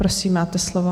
Prosím, máte slovo.